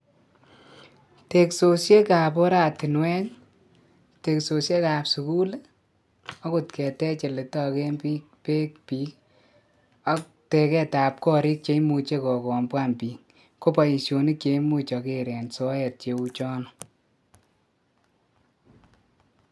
teksosiek ab oratinwek, teksosiek ab sukul i, akot ketej oletoken beek biik ak teket ab korik cheimuche kokombwan biik ko boishonik cheimuche aker en soet cheuchono.